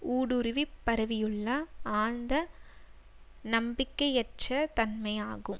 ஊடுருவி பரவியுள்ள ஆழ்ந்த நம்பிக்கையற்றதன்மை ஆகும்